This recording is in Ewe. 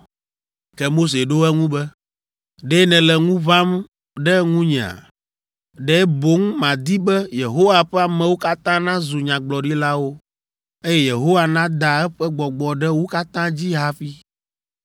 Ke Mose ɖo eŋu be, “Ɖe nèle ŋu ʋãm ɖe nunyea? Ɖe boŋ madi be Yehowa ƒe amewo katã nazu nyagblɔɖilawo, eye Yehowa nada eƒe gbɔgbɔ ɖe wo katã dzi hafi!”